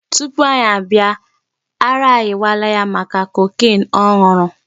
Tupu anyị abịa ara ayịwala ya maka cocaine ọ nụrụ.